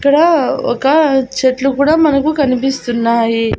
ఇక్కడ ఒక చెట్లు కూడా మనకు కనిపిస్తున్నాయి.